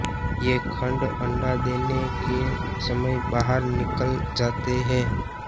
ये खंड अंडा देने के समय बाहर निकल आते हैं